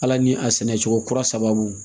Ala ni a sɛnɛcogo kura sababu